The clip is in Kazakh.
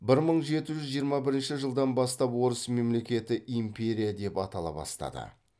бір мың жеті жүз жиырма бірінші жылдан бастап орыс мемлекеті империя деп атала бастады